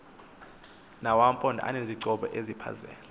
nawamaphondo aneenkqubo ezichaphazela